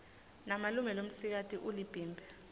malume lomsikati ulibhimbi